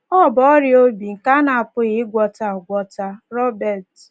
Ọ bụ ọrịa obi nke a na-apụghị ịgwọta agwọta.” — Robert.